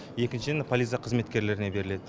екіншіден полиция қызметкерлеріне беріледі